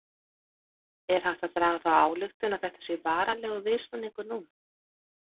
Er hægt að draga þá ályktun að þetta sé varanlegur viðsnúningur núna?